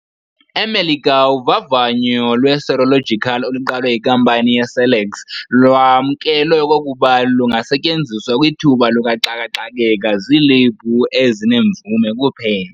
E-Melika uvavanyo lwe-serological oluqalwe yinkampani iCellex lwamkelwe okokuba lungasetyenziwa kwithuba lukaxaka-xakeka ziilebhu ezinemvume kuphela.